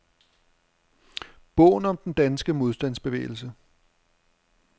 Bogen om den danske modstandsbevægelse.